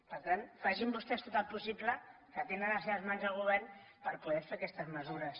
per tant facin vostès tot el possible que tenen a les seves mans el govern per poder fer aquestes mesures